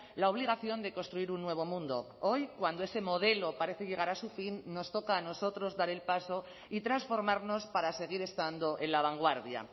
la obligación de construir un nuevo mundo hoy cuando ese modelo parece llegar a su fin nos toca a nosotros dar el paso y transformarnos para seguir estando en la vanguardia